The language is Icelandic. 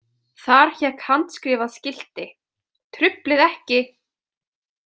Þar hékk handskrifað skilti: Truflið ekki!